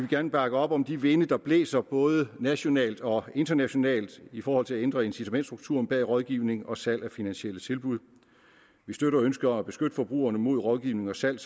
gerne bakke op om de vinde der blæser både nationalt og internationalt i forhold til at ændre incitamentsstrukturen bag rådgivning og salg af finansielle tilbud vi støtter ønsket om at beskytte forbrugerne mod rådgivning og salg